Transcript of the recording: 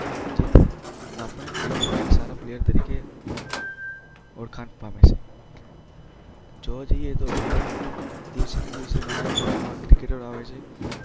જેથી આપણે ક્રિકેટમાં એક સારા પ્લેયર તરીકે ઓળખાણ પામીએ. જોવા જઈએ તો ભારતમાં દિવસે ને દિવસે ઘણા નવા એવા ક્રિકેટર્સ આવે છે.